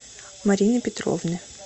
марины петровны